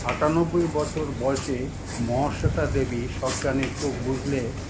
আটানব্বই বছর বয়সে মহাশ্বেতা দেবী সজ্ঞানে চোখ বুজলে